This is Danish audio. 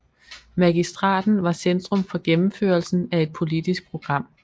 Magistraten var centrum for gennemførelsen af et politisk program